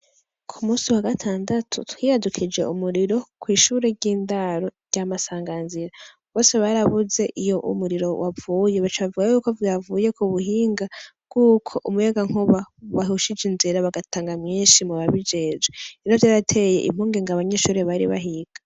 Ku musi wa gatandatu twiyadukije umuriro kw'ishure ry'indaro rya masanganzira bose barabuze iyo umuriro wavuye baca bavuga yuko vyavuye Ku buhinga bw'uko umuyagankuba wahushije inzira bagatanga mwinshi mu babijejwe rero vyarateye impungenge abanyeshure bari bahiga.